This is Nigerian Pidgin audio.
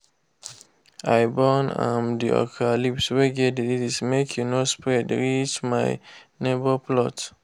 i burn um the okra leaves wey get disease make e no spread reach my neighbour plot.